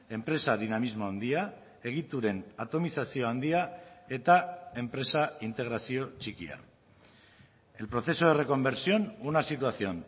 enpresa dinamismo handia egituren atomizazio handia eta enpresa integrazio txikia el proceso de reconversión una situación